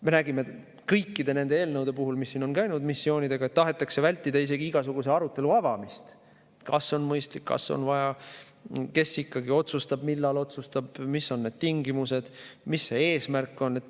Me nägime kõikide nende missioonieelnõude puhul, mis siin on, et tahetakse vältida isegi igasuguse arutelu avamist, et kas on mõistlik, kas on vaja, kes ikkagi otsustab, millal otsustab, mis on need tingimused, mis see eesmärk on.